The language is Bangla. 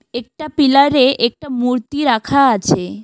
একটা পিলারে একটা মূর্তি রাখা আছে।